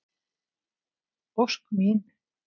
Ósk mín.